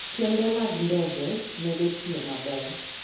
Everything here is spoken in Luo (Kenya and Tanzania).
Kembe mag ndege medo tiyo maber.